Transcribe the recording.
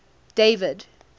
david